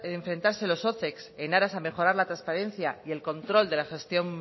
enfrentarse los ocex en aras a mejorar la transparencia y el control de la gestión